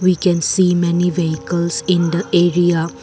we can see many vehicles in the area.